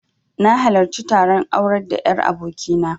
Na halarci taron aurar da 'yar aboki na